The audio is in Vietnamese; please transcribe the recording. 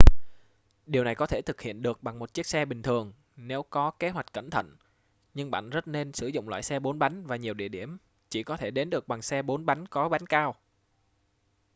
điều này có thể thực hiện được bằng một chiếc xe bình thường nếu có kế hoạch cẩn thận nhưng bạn rất nên sử dụng loại xe 4 bánh và nhiều địa điểm chỉ có thể đến được bằng xe 4 bánh có bánh cao